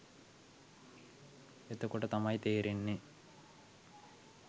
එතකොට තමයි තේරෙන්නේ